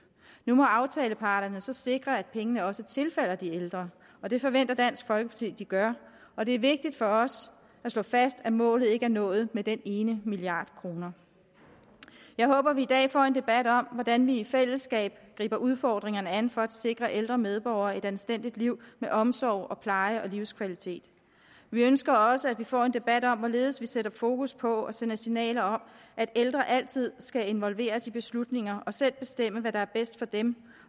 nu må aftaleparterne så sikre at pengene også tilfalder de ældre og det forventer dansk folkeparti at de gør og det er vigtigt for os at slå fast at målet ikke er nået med den ene milliard kroner jeg håber at vi i dag får en debat om hvordan vi i fællesskab griber udfordringerne an for at sikre ældre medborgere et anstændigt liv med omsorg og pleje og livskvalitet vi ønsker også at vi får en debat om hvorledes vi sætter fokus på og sender signaler om at ældre altid skal involveres i beslutninger og selv bestemme hvad der er bedst for dem